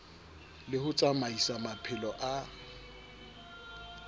le ho tsamaisa maphelo a